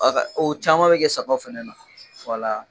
O caman bɛ kɛ sagaw fana na